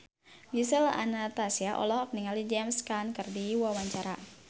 Gisel Anastasia olohok ningali James Caan keur diwawancara